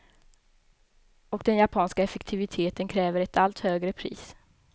Och den japanska effektiviteten kräver ett allt högre pris.